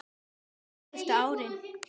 Síðustu árin